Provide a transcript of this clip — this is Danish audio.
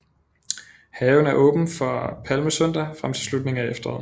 Haven er åben fra palmesøndag frem til slutningen af efteråret